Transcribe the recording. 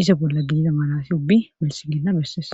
izo bolla giida malasi ubbi melsiginna besses.